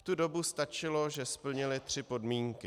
V tu dobu stačilo, že splnily tři podmínky.